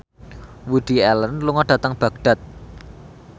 Woody Allen lunga dhateng Baghdad